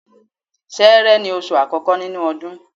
Ṣẹẹrẹ ni oṣù àkọ́kọ́ nínú ọdún.